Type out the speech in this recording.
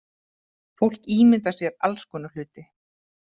Fólk ímyndar sér alls konar hluti.